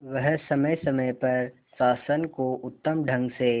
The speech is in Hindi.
वह समय समय पर शासन को उत्तम ढंग से